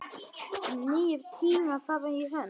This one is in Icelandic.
Nýir tímar fara í hönd